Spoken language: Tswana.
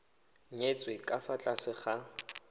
nyetswe ka fa tlase ga